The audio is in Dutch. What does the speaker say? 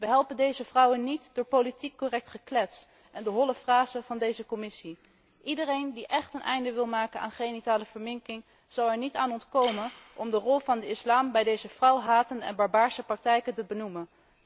We helpen deze vrouwen niet door politiek correct geklets en de holle frasen van deze Commissie. Iedereen die echt een einde wil maken aan genitale verminking zal er niet aan ontkomen om de rol van de islam bij deze vrouwhatende en barbaarse praktijken te benoemen.